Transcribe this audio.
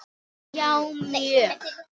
Já, mjög